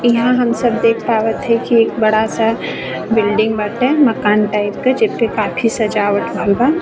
इहां हम सब देख पावत है की एक बड़ा सा बिल्डिंग बाटे मकान टाइप के जे के काफी सजावट भइल बा।